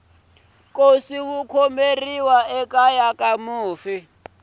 nkosi wu khomeriwa ekeya ka mufi